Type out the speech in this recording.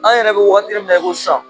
An yɛrɛ be wagatini min na e ko san